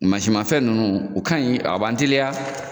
Mansinmafɛn ninnu, u ka ka ɲi a b'an teliya.